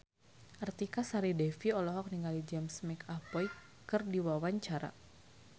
Artika Sari Devi olohok ningali James McAvoy keur diwawancara